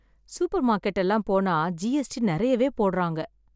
Super market எல்லாம் போனா GST நிறையவே போடுறாங்க.